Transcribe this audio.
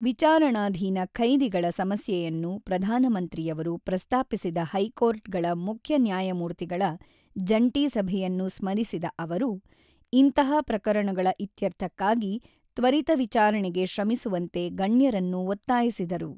ವಿಚಾರಣಾಧೀನ ಖೈದಿಗಳ ಸಮಸ್ಯೆಯನ್ನು ಪ್ರಧಾನ ಮಂತ್ರಿಯವರು ಪ್ರಸ್ತಾಪಿಸಿದ ಹೈಕೋರ್ಟ್ಗಳ ಮುಖ್ಯ ನ್ಯಾಯಮೂರ್ತಿಗಳ ಜಂಟಿ ಸಭೆಯನ್ನು ಸ್ಮರಿಸಿದ ಅವರು, ಇಂತಹ ಪ್ರಕರಣಗಳ ಇತ್ಯರ್ಥಕ್ಕಾಗಿ ತ್ವರಿತ ವಿಚಾರಣೆಗೆ ಶ್ರಮಿಸುವಂತೆ ಗಣ್ಯರನ್ನು ಒತ್ತಾಯಿಸಿದರು.